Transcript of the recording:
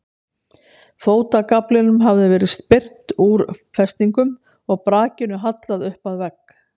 Fótagaflinum hafði verið spyrnt úr festingum og brakinu hallað upp að vegg.